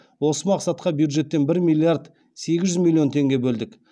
осы мақсатқа бюджеттен бір миллиард сегіз жүз миллион теңге бөлдік